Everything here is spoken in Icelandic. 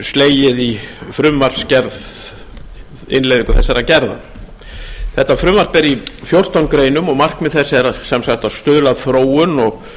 slegið í frumvarpsgerð innleiðingu þessarar gerðar frumvarpið er í fjórtán greinum og markmið þess er að stuðla að þróun og